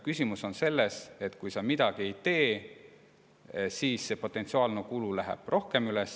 Küsimus on ka selles, et kui sa midagi ei tee, siis potentsiaalne kulu läheb rohkem üles.